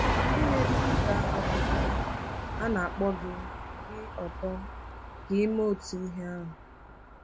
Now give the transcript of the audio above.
Ndị na-ebipụta akwụkwọ a na-akpọ gị gị ọ̀tọ ka i mee otu ihe ahụ.